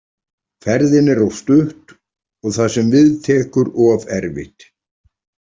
Ferðin er of stutt og það sem við tekur of erfitt.